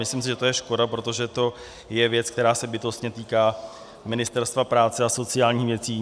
Myslím si, že to je škoda, protože to je věc, která se bytostně týká Ministerstva práce a sociálních věcí.